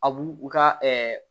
A b'u u ka